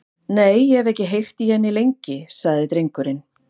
Nei, og ég hef ekki heyrt í henni lengi, sagði drengurinn.